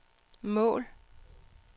mål